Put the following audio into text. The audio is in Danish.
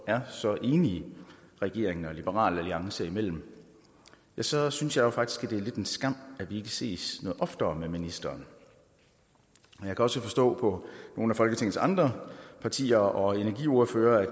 er så enige regeringen og liberal alliance imellem så synes jeg faktisk at det er lidt en skam at vi ikke ses noget oftere med ministeren jeg kan også forstå på nogle af folketingets andre partier og energiordfører at